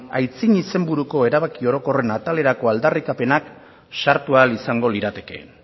aitzin izenburuko erabaki orokorren atalerako aldarrikapenak sartu ahal izango liratekeen